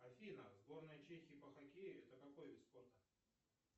афина сборная чехии по хоккею это какой вид спорта